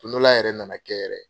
Don dɔ la yɛrɛ na na kɛ yɛrɛ.